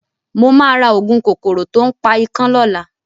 Mo máa ra òògùn kòkòrò to ń pa ikán lọ́la.